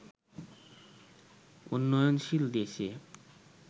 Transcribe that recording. উন্নয়নশীল দেশে